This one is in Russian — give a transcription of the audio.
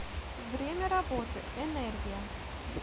время работы энергия